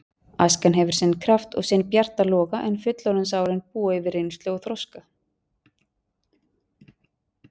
Æskan hefur sinn kraft og sinn bjarta loga en fullorðinsárin búa yfir reynslu og þroska.